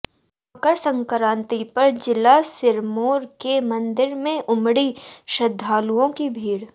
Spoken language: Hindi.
मकर संक्रांति पर जिला सिरमौर के मंदिरों में उमड़ी श्रद्धालुओं की भीड़